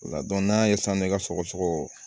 O la n'an y'a ye sisan i ka sɔgɔsɔgɔ